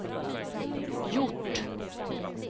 gjort